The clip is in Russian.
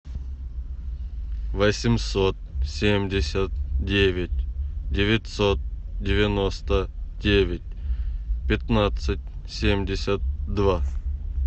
восемьсот семьдесят девять девятьсот девяносто девять пятнадцать семьдесят два